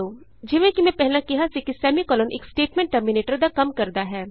ਜਿਵੇਂ ਕਿ ਮੈਂ ਪਹਿਲਾਂ ਕਿਹਾ ਸੀ ਕਿ ਸੈਮੀਕੋਲਨ ਇਕ ਸਟੇਟਮੈਂਟ ਟਰਮੀਨੇਟਰ ਦਾ ਕੰਮ ਕਰਦਾ ਹੈ